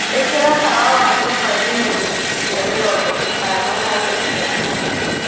ĩkĩra tawa wa nyũmba nginya gĩcunjĩ kĩa mĩrongo ĩtano harĩ igana